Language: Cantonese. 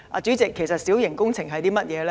主席，其實小型工程是甚麼？